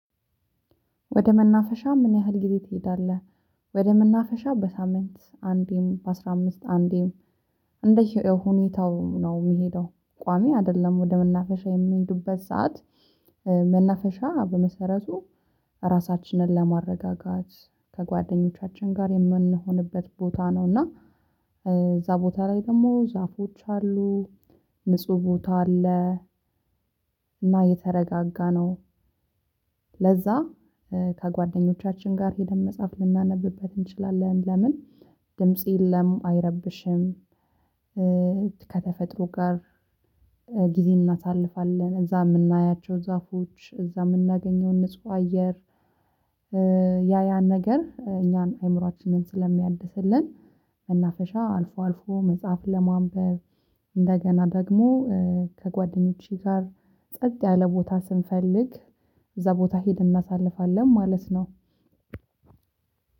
ወደ መናፈሻ ምን ያህል ጊዜ ትሄዳለህ? ወደ መናፈሻ በሳምንት አንዴም በአስራ አምስት አንዴም እንደ ሁኔታው ነው የሚሄደው ቋሚ አይደለም ወደ መናፈሻ የምንሄዱበት ሰዓት መናፈሻ በመሰረቱ ራሳችንን ለማረጋጋት፣ ከጓደኞቻችን ጋር የምንሆንበት ቦታ ነው እና እዛ ቦታ ላይ ደግሞ ዛፎች አሉ ንጹህ ቦታ አለ፣ እና የተረጋጋ ነው ለዛ ከጓደኞቻችን ጋር ሄደን መጽሐፍ ልናነብበት እንችላለን ለምን ድምጽ የለም አይረብሽም፣ ከተፈጥሮ ጋር ጊዜ እናሳልፋለን እዛ የምናያቸው ዛፎች እዛ የምናገኘውን ንጹህ አየር ያ ያ ነገር እኛን አይምሮአችንን ስለሚያድስልን እና መፈሻ አልፎ አልፎ መጽሐፍ ለማንበብ እንደገና ደግሞ ከጓደኞቼ ጋር ጸጥ ያለ ቦታ ስንፈልግ እዛ ቦታ ሄደን እናሳልፋለን ማለት ነው።